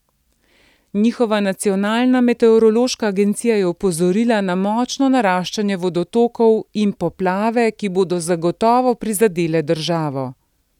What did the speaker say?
Njihova nacionalna meteorološka agencija je opozorila na močno naraščanje vodotokov in poplave, ki bodo zagotovo prizadele državo.